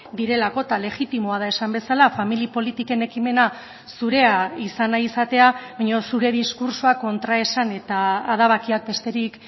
direlako eta legitimoa da esan bezala familia politiken ekimena zurea izan nahi izatea baina zure diskurtsoa kontraesan eta adabakiak besterik